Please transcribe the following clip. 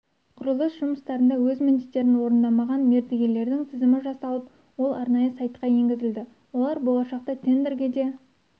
құрылыс жұмыстарында өз міндеттерін орындамаған мердігерлердің тізімі жасалып ол арнайы сайтқа енгізілді олар болашақта тендерге де